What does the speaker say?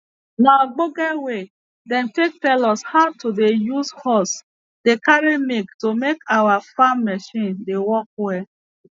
na obonge way dem take tell us how to dey use hose dey carry milk to make our farm marchin dey work well